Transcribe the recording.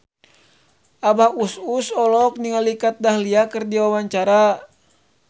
Abah Us Us olohok ningali Kat Dahlia keur diwawancara